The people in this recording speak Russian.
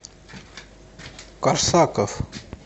корсаков